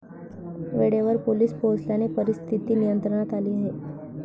वेळेवर पोलिस पोचल्याने परिस्थीती नियंत्रणात आली आहे.